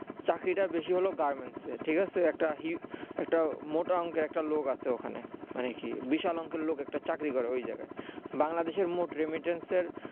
চাকরিটা বেশি হলেও garments এর ঠিকাছে একটা হি মানে মোটা অংকের লোক আছে ওখানা মানে কি বিশাল অংকের লোক একটা চাকরি করে ওই জায়গায় বাংলাদেশের মোট remitence এর